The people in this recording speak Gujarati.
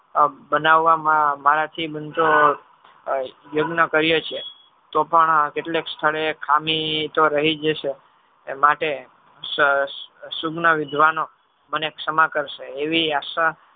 બનાવવામાં મારાથી કહીયે છીએ તો પણ કેટલાક સ્થળે ખામી તો રહી જ છે. માટે સુજ્ઞન વિઘવાનો અને ક્ષમા કરશે એવી આશા